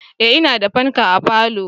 Eh ina da fanka a falo